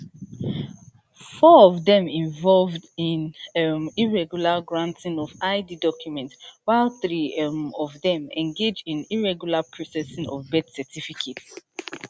four of dem involve in um irregular granting of id documents while three um of dem engage in irregular processing of birth certificates